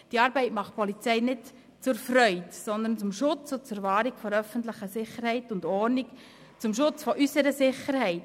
Diese Arbeit macht die Polizei nicht aus Freude, sondern zum Schutz und zur Wahrung der öffentlichen Sicherheit und Ordnung, zum Schutz unserer Sicherheit.